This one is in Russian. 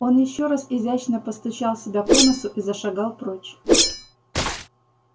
он ещё раз изящно постучал себя по носу и зашагал прочь